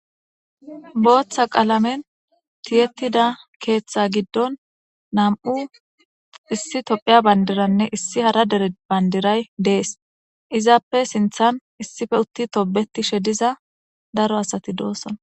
booththa qaalamen tiyettida keeththa giddon nam7u issi tophiya bandiranne issi hara dere bandiray dees izaappe sinthan issife utti tobetishe diza daro asati doosson